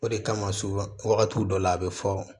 O de kama so wagati dɔ la a bɛ fɔ